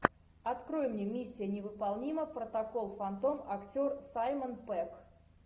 открой мне миссия невыполнима протокол фантом актер саймон пегг